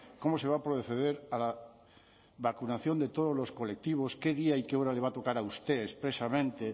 cómo se va a proceder a la vacunación de todos los colectivos qué día y qué hora le va a tocar a usted expresamente